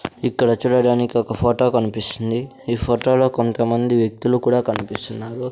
ఇక్కడ చూడడానికి ఒక ఫోటో కనిపిస్తుంది ఈ ఫోటోలో కొంతమంది వ్యక్తులు కూడా కనిపిస్తున్నారు.